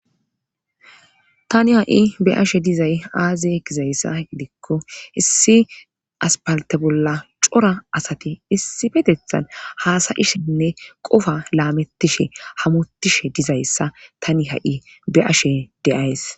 Tani ha'i be ashe dizay aazi gizayssa gidikko issi aspalte bolla cora asati issi petethan haasayishenne qofa laamettishe hamutishe dizayssa tani ha'i be ashe deays